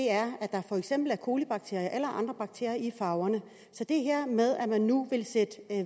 er at der for eksempel er colibakterier og andre bakterier i farverne så det her med at man nu vil sætte